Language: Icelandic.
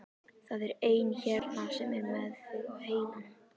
Það er einn hérna sem er með þig á heilanum.